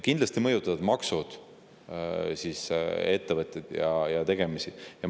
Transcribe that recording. Kindlasti mõjutavad maksud ettevõtete tegemisi.